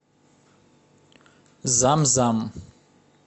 зам зам